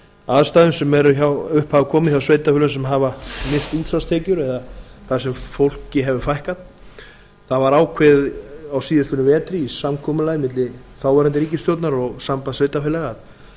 aðstæðum sem upp hafa komið hjá sveitarfélögum sem hafa misst útsvarstekjur eða þar sem fólki hefur fækkað það var ákveðið á síðastliðnum vetri í samkomulagi milli þáv ríkisstjórnar og sambands sveitarfélaga